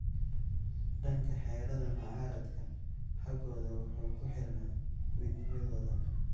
Dhanka xerada mucaaradka xooggoodu wuxuu ku xirnaa midnimadooda.